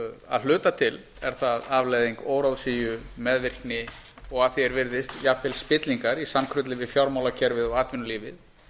að hluta til er það afleiðing óráðsíu meðvirkni og að því er virðist jafnvel spillingar í samkrulli við fjármálakerfið og atvinnulífið